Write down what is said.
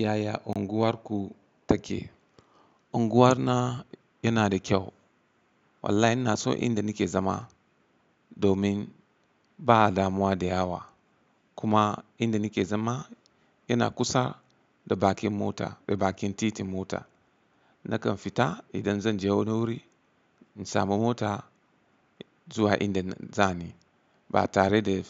Yaya unguwarku take? Unguwar na yana da kyau. Wallahi ina so inda nake zama domin ba damuwa da yawa kuma inda nake zama yana kusa da bakin mota da bakin titin mota. Nakan fita idan zan je wani wuri, in samu mota zuwa inda za ni ba tare da